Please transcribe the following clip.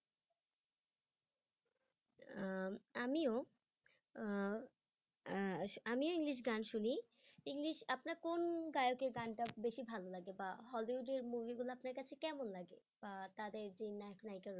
আহ আমিও আহ আহ আমিও english গান শুনি english আপনার কোন গায়কের গানটা বেশি ভালো লাগে বা hollywood এর movie গুলা আপনার কাছে কেমন লাগে বা তাদের যে নায়ক নায়িকা রয়েছে